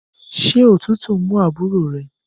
Ṣé òtútù ń mú àbúrò re?